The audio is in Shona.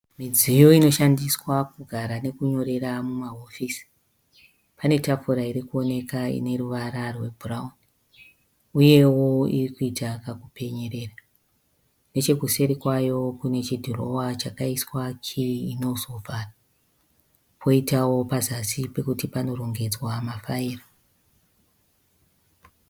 Midziyo inoshandiswa kugara nekunyorera mumahofisi. Pane tafura irikuoneka ine ruvara rwebhurauni uyewo iri kuita kakupenyerera nechekuseri kwayo kune chidhirowa chakaiswa chinosopani poitawo pazasi pekuti panorongedzwa mafaira.